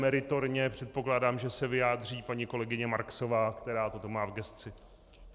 Meritorně, předpokládám, že se vyjádří paní kolegyně Marksová, která toto má v gesci.